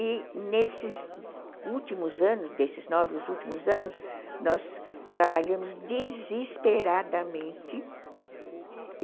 E nesses últimos anos, desses nove últimos anos, nós trabalhamos desesperadamente.